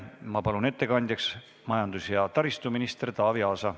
Ma palun ettekandjaks majandus- ja taristuminister Taavi Aasa.